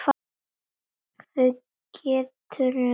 Það geturðu bókað.